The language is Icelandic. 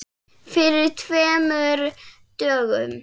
Fyrir tveimur dögum?